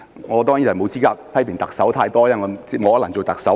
我當然沒有資格批評特首太多，因為我不可能做特首。